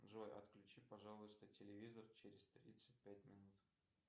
джой отключи пожалуйста телевизор через тридцать пять минут